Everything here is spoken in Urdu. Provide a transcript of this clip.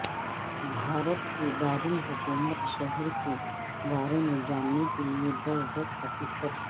بھارت کے دارالحکومت شہر کے بارے میں جاننے کے لئے دس دس حقیقت